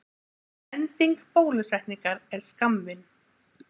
Ending bólusetningar er skammvinn.